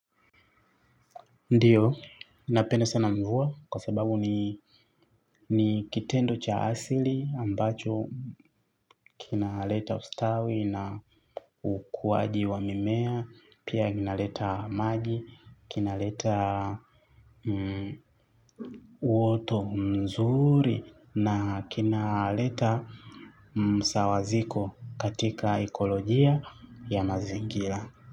Ndiyo, napenda sana mvua kwa sababu ni ni kitendo cha asili ambacho kinaleta ustawi na ukuaji wa mimea, pia vinaleta maji, kinaleta uoto mzuri na kinaleta msawaziko katika ekolojia ya mazingira.